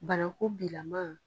Banako bilaman.